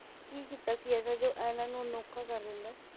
ਕੀ ਕੀਤਾ ਸੀ ਐਸਾ ਜੋ ਇਹਨਾਂ ਨੂੰ ਅਨੌਖਾ ਕਰ ਦਿੰਦਾ ਐ।